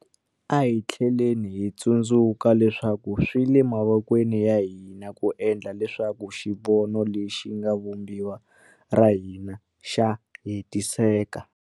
A hi tlheleni hi tsundzuka leswaku swi le mavokweni ya hina ku endla leswaku xivono lexi nga eka Vumbiwa ra hina xa hetiseka.